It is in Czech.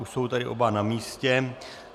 Už jsou tedy oba na místě.